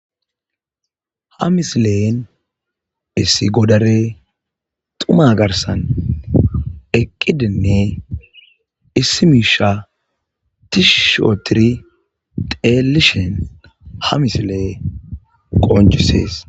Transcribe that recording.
ha misilen issi godare xuma garsan eqqidinne issimiisha tishishootiri teelishen ha misile qoonjisees